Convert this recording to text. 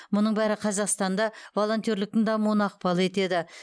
мұның бәрі қазақстанда волонтерліктің дамуына ықпал етеді